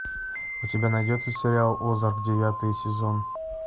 у тебя найдется сериал озарк девятый сезон